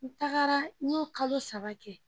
N taga n y'o kalo saba kɛ